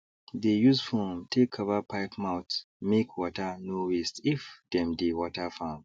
they use foam take cover pipe mouthmake water no wasteif dem dey water farm